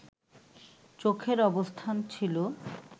চোখের অবস্থান ছিল